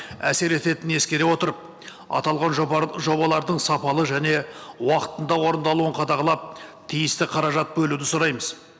әсер ететінін ескере отырып аталған жобалардың сапалы және уақытында орындалуын қадағалап тиісті қаражат бөлуді сұраймыз